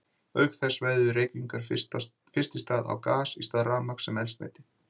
Auk þess veðjuðu Reykvíkingar fyrst í stað á gas í stað rafmagns sem eldsneyti.